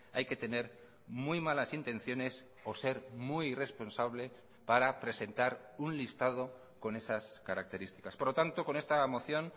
hay que tener muy malas intenciones o ser muy irresponsable para presentar un listado con esas características por lo tanto con esta moción